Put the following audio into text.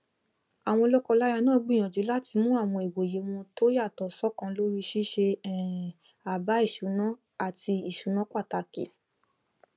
àwọn lọkọláya náà gbìyànjú láti mú àwọn ìwòye wọn tó yàtọ ṣọkan lórí i ṣíṣe um àbá ìṣúná àti ìṣúná pàtàkì